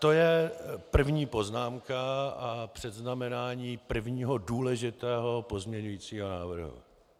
To je první poznámka a předznamenání prvního důležitého pozměňovacího návrhu.